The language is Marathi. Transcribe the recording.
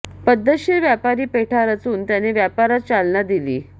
पद्धतशीर व्यापारी पेठा रचून त्यांनी व्यापारास चालना दिली